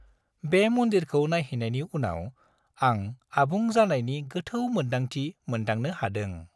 बे मन्दिरखौ नायहैनायनि उनाव आं आबुं जानायनि गोथौ मोन्दांथि मोनदांनो हादों।